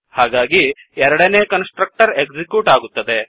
ಹಾಗಾಗಿ ಎರಡನೇ constructor execute ಆಗುತ್ತದೆ